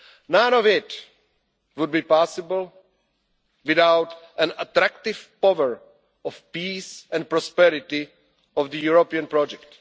None of it would be possible without the attractive power of peace and prosperity of the European project.